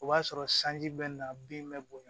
O b'a sɔrɔ sanji bɛ na bin bɛ bonya